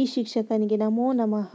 ಈ ಶಿಕ್ಷಕನಿಗೆ ನಮೋ ನಮಃ